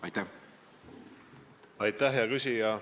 Aitäh, hea küsija!